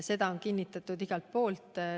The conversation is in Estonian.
Seda on kinnitatud igalt poolt.